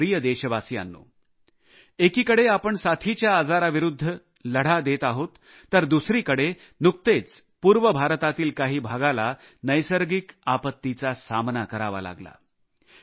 माझ्या प्रिय देशवासियांनो एकीकडे आपण साथीच्या आजाराविरुद्ध लढा देत आहोत तर दुसरीकडे नुकतेच पूर्व भारतातील काही भागाला नैसर्गिक आपत्तीचा सामना करावा लागला